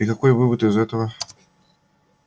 и какой вывод из этого